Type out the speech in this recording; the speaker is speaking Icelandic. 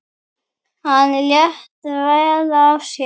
Hann lét vel af sér.